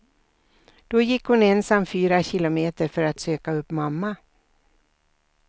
Då gick hon ensam fyra kilometer för att söka upp mamma.